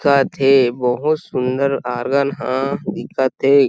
दिखत हे बहुत सुन्दर ऑर्गन ह दिखत हे।